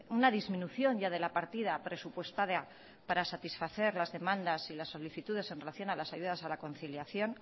una disminución ya de la partida presupuestada para satisfacer las demandas y la solicitudes en relación a las ayudas a la conciliación